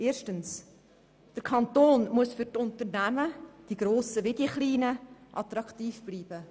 Erstens muss der Kanton muss sowohl für die grossen als auch für die kleinen Unternehmen attraktiv bleiben.